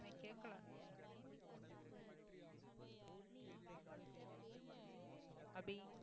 அபி